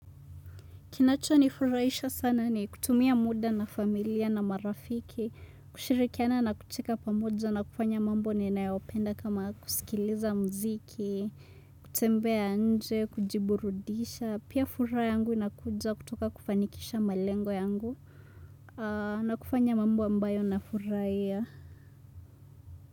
Kinacho ni furahisha sana ni kutumia muda na familia na marafiki, kushirikiana na kucheka pamojo na kufanya mambo ninayopenda kama kusikiliza mziki, kutembea nje, kujiburudisha, pia furaha yangu inakuja kutoka kufanikisha malengo yangu na kufanya mambo ambayo na furahia.